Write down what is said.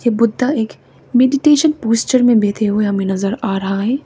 बुद्धा एक meditation posture में बैठे हुए हमें नजर आ रहा है।